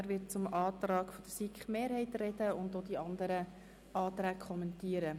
Er wird zum Antrag der SiK-Mehrheit sprechen und auch die anderen Anträge kommentieren.